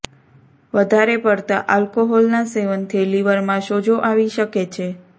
વધારે પડતા આલ્કોહોલના સેવનથી લીવરમાં સોજો આવી શકે છે